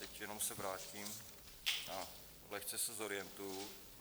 Teď jenom se vrátím a lehce se zorientuji.